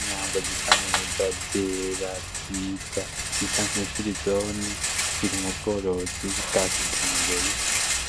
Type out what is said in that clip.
Inyambo zisa neza, zera, nziza, zisa nkifirizone, ziri mubworozi bwakijambere.